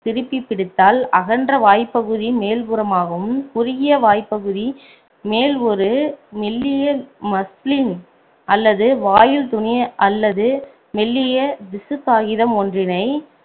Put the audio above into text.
திருப்பி பிடித்தால் அகன்ற வாய்ப்பகுதி மேல்புறமாகவும் குறுகிய வாய் பகுதி மேல் ஒரு மெல்லிய மஸ்லின் அல்லது வாயில் துணி அல்லது மெல்லிய திசுக்காகிதம் ஒன்றினை